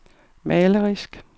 malerisk